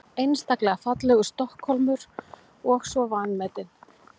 Einstaklega fallegur Stokkhólmur og svo vanmetinn.